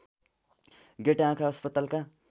गेटा आँखा अस्पतालका